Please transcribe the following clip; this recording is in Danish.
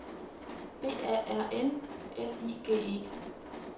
B A R N L I G E